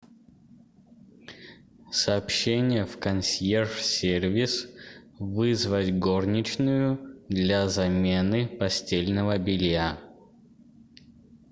сообщение в консьерж сервис вызвать горничную для замены постельного белья